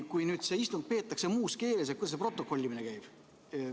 Kui istung peetakse muus keeles, kuidas siis protokollimine käib?